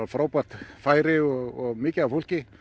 frábært færi og mikið af fólki